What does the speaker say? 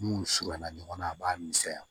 N'u surunyana ɲɔgɔn na a b'a misɛnya